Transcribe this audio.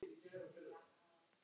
Eftir það lét Sveinn